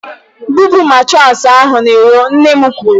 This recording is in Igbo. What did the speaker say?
"Bupu matraasi ahụ n'iro," Nne m kwuru.